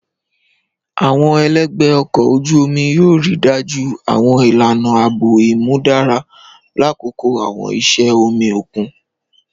Àwọn ẹlẹgbẹ ọkọ oju omi yoo rii daju àwọn ilana aabo imudara lakoko àwọn iṣẹ omi okun.